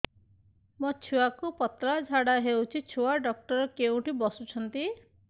ମୋ ଛୁଆକୁ ପତଳା ଝାଡ଼ା ହେଉଛି ଛୁଆ ଡକ୍ଟର କେଉଁଠି ବସୁଛନ୍ତି